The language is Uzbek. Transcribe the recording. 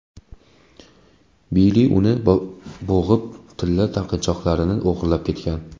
Billi uni bo‘g‘ib, tilla taqinchoqlarini o‘g‘irlab ketgan.